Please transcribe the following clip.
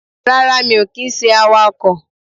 Rárá mi ò kì í se awakò